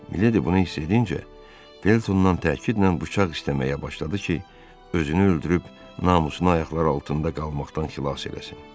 Miledi bunu hiss edincə, Feltondan təkidlə bıçaq istəməyə başladı ki, özünü öldürüb namusunu ayaqlar altında qalmaqdan xilas eləsin.